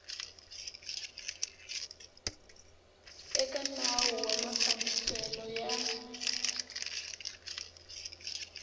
eka nawu wa mafambiselo ya